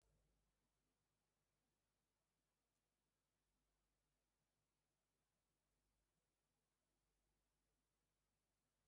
Ndị obodo ahụ ji mma bịa agha ahụ